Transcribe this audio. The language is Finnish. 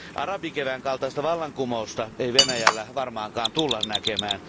Arabikevään kaltaista vallankumousta ei Venäjällä varmaankaan tulla näkemään.